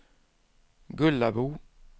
Gullabo